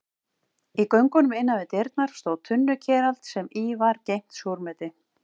Í göngunum innan við dyrnar stóð tunnukerald sem í var geymt súrmeti.